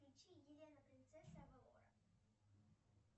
включи елена принцесса авалора